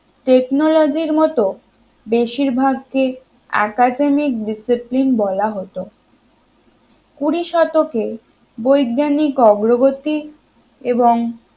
technology র মতো মত বেশিরভাগ কে academic discipline বলা হতো কুড়ি শতকে বৈজ্ঞানিক অগ্রগতি এবং